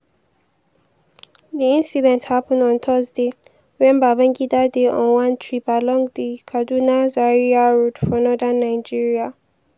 di incident happun on thursday wen babangida dey on one trip along di kaduna-zaria road for northern nigeria.